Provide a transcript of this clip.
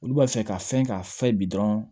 Olu b'a fɛ ka fɛn k'a fɛ bi dɔrɔn